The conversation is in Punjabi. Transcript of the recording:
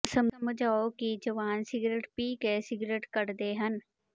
ਸਮਝਾਓ ਕਿ ਜਵਾਨ ਸਿਗਰਟ ਪੀ ਕੇ ਸਿਗਰਟ ਕੱਢਦੇ ਹਨ